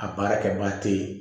A baara kɛbaga te ye